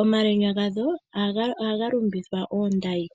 Omalwenya gadho ohaga lumbithwa oondayi.